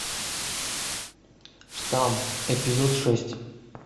штамм эпизод шесть